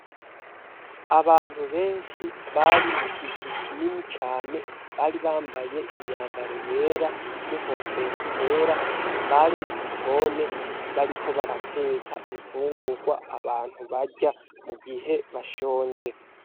Abantu benshi bari mu kizu kinini cane, bari bambaye imyambaro yera n'inkofero zera, bari mugikoni bariko barateka imfungurwa abantu barya mu gihe bashonje.